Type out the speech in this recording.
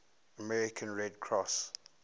american red cross